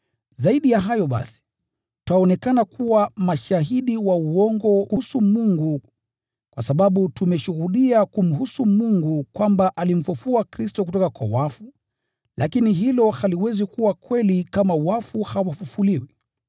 Zaidi ya hayo, twaonekana kuwa mashahidi wa uongo kuhusu Mungu, kwa sababu tumeshuhudia kumhusu Mungu kwamba alimfufua Kristo kutoka kwa wafu, lakini hilo haliwezi kuwa kweli kama wafu hawafufuliwi.